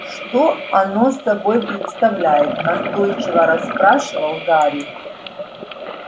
что оно собой представляет настойчиво расспрашивал гарри